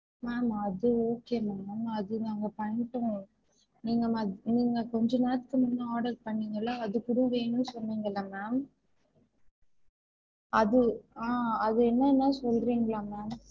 Ma'am அது okay ma'am அது நாங்க பண்ணிதாறோம் நீங்க நீங்க கொஞ்ச நேரத்துல முன்ன order பண்ணிங்கள அது கூட வேணும் சொன்னீங்கலே ma'am அது ஆஹ் அது என்னதுன்னு சொல்றீங்களா ma'am